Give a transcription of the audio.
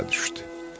Yola düşdü.